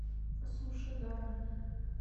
суши даром